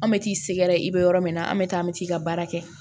An bɛ t'i sɛgɛrɛ i bɛ yɔrɔ min na an bɛ taa an bɛ t'i ka baara kɛ